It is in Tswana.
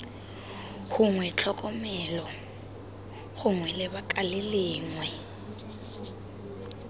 gongwe tlhokomelo gongwe lebaka lengwe